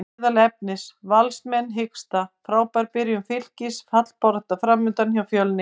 Meðal efnis: Valsmenn hiksta, Frábær byrjun Fylkis, fallbarátta framundan hjá Fjölni?